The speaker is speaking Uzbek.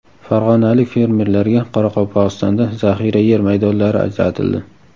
Farg‘onalik fermerlarga Qoraqalpog‘istonda zaxira yer maydonlari ajratildi.